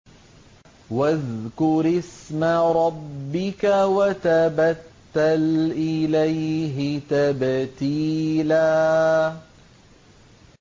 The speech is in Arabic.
وَاذْكُرِ اسْمَ رَبِّكَ وَتَبَتَّلْ إِلَيْهِ تَبْتِيلًا